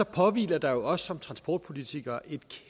påhviler der jo os som transportpolitikere et